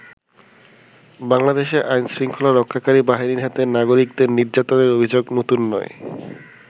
বাংলাদেশে আইন শৃঙ্খলা রক্ষাকারী বাহিনীর হাতে নাগরিকদের নির্যাতনের অভিযোগ নতুন নয়।